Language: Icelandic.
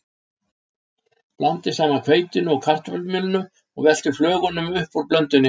Blandið saman hveitinu og kartöflumjölinu og veltið flögunum upp úr blöndunni.